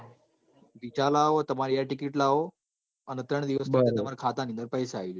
visa લાવો તમારી i ticket લાવો ત્રણ દિવસ ની અંદર તમરી ખાતા મો પઇસા આઇજોય